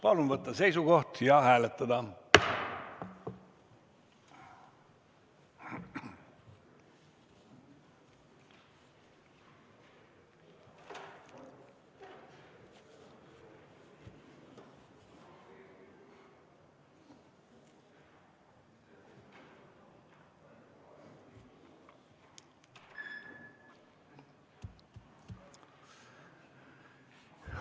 Palun võtta seisukoht ja hääletada!